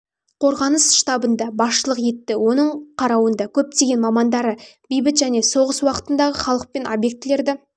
қорғаныс штабында басшылық етті оның қарауында көптеген мамандары бейбіт және соғыс уақытындағы халық пен обьектілерді